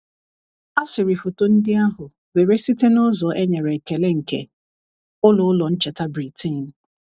A sịrị foto ndị ahụ were site n’ụzọ e nyere ekele nke Ụlọ Ụlọ Ncheta Britain.